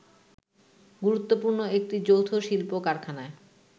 গুরুত্বপূর্ণ একটি যৌথ শিল্প-কারখানায়